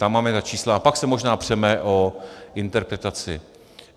Tam máme ta čísla a pak se možná přeme o interpretaci.